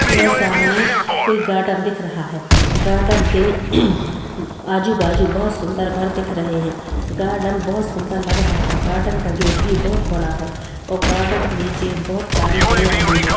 यह सामने कोई गार्डन दिख रहा हैं गार्डन के आजु-बाजु बहोत सुन्दर घर दिख रहे हैं गार्डन बहोत सुन्दर लग रहा हैं गार्डन का गेट भी बहोत बड़ा हैं और गार्डन के नीचे बहोत सारी हरयाली हैं।